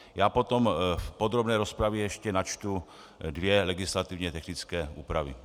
Já potom v podrobné rozpravě ještě načtu dvě legislativně technické úpravy.